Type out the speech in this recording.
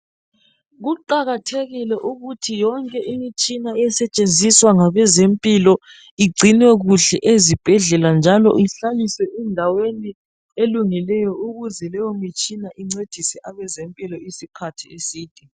Kuqakathekile ukuthi yonke imitshina esetshenziswa ngabazempilo igcinwe kuhle ezibhedlela njalo ihlaliswe endaweni elungileyo ukuze leyo mtshina incedise abezempilo isikhathi eside